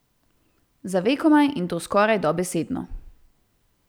Za vekomaj, in to skoraj dobesedno.